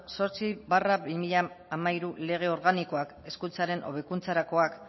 zortzi barra bi mila hamairu lege organikoak hezkuntzaren hobekuntzarakoak